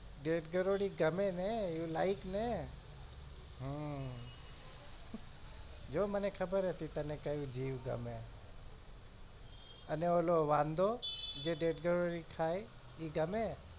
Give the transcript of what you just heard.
ઢેઢ ગરોળી ગમે ને you like ને આહ જો મને ખબર હતી તને કયું જીવ ગમે અને ઓલો વાંદો જે ઢેઢ ગરોળી ખાય ઈ ગમે?